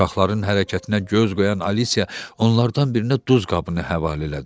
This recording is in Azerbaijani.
Uşaqların hərəkətinə göz qoyan Alisiya onlardan birinə duz qabını həvalə elədi.